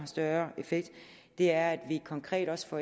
større effekt er at vi konkret også får